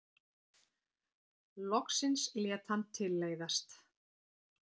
Loksins lét hann tilleiðast.